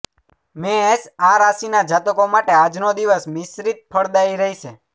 મેષ આ રાશિના જાતકો માટે આજનો દિવસ મિશ્રિત ફળદાયી રહેશે